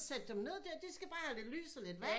Sætte dem ned der de skal bare have lidt lys og lidt vand